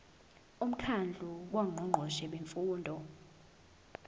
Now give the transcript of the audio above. umkhandlu wongqongqoshe bemfundo